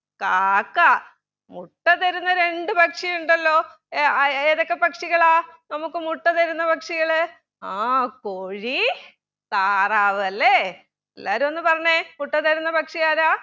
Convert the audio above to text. കാക്ക മുട്ട തരുന്ന രണ്ട് പക്ഷി ഉണ്ടല്ലോ ഏർ ഏതൊക്കെ പക്ഷികളാ നമുക്ക് മുട്ട തരുന്ന പക്ഷികൾ ആ കോഴി താറാവ് അല്ലെ എല്ലാരും ഒന്നു പറഞ്ഞെ മുട്ട തരുന്ന പക്ഷിയാരാ